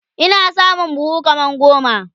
Ina samun buhu kaman goma